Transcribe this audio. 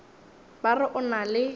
ba re o na le